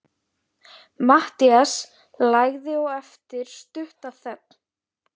Matthías lagði á eftir stutta þögn.